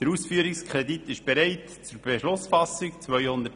Der Ausführungskredit ist bereit zur Beschlussfassung: 233,5 Mio. Franken.